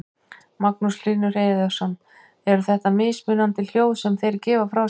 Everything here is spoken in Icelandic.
Magnús Hlynur Hreiðarsson: Eru þetta mismunandi hljóð sem þeir gefa frá sér?